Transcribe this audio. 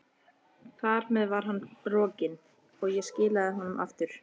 Þar með var hann rokinn, og ég skilaði honum aftur.